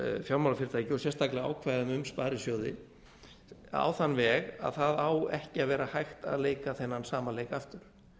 fjármálafyrirtæki og sérstaklega ákvæðum sparisjóði á þann veg að það á ekki að vera hægt að leika þennan sama leik aftur